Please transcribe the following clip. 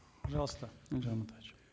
пожалуйста елжан амантаевич